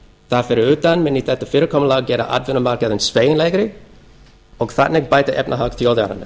þar fyrir utan mundi þetta fyrirkomulag gera atvinnumarkaðinn sveigjanlegri og þannig bæta efnahag þjóðarinnar